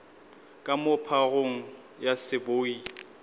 ka moo phagong ya seboi